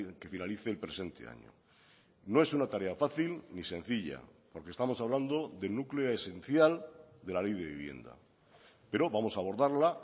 que finalice el presente año no es una tarea fácil ni sencilla porque estamos hablando del núcleo esencial de la ley de vivienda pero vamos a abordarla